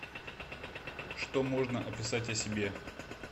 что можно описать о себе